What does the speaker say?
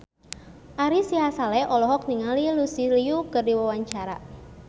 Ari Sihasale olohok ningali Lucy Liu keur diwawancara